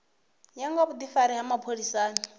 ya nga vhudifari ha mapholisani